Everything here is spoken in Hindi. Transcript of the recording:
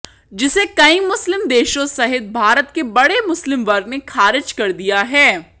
जिसे कई मुस्लिम देशों सहित भारत के बड़े मुस्लिम वर्ग ने खारिज कर दिया है